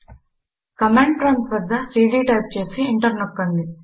command prompt వద్ద CD type చేసి enter నొక్కండి